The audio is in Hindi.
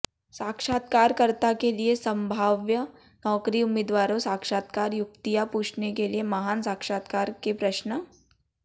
साक्षात्कारकर्ता के लिए संभाव्य नौकरी उम्मीदवारों साक्षात्कार युक्तियाँ पूछने के लिए महान साक्षात्कार के प्रश्न